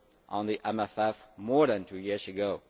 on the MFF more than two years ago.